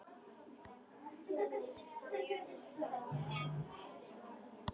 Hvaðan eru þær.